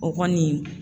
O kɔni